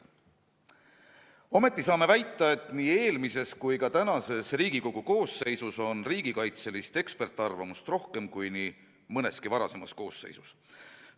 Samas on alust väita, et nii eelmises kui ka praeguses Riigikogu koosseisus on riigikaitselist eksperdiarvamust rohkem kui nii mõneski varasemas koosseisus.